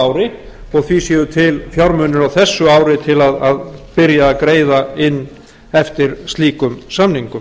ári og því séu til fjármunir á þessu ári til að byrja að greiða inn eftir slíkum samningum